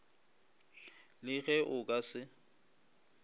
le ge o ka se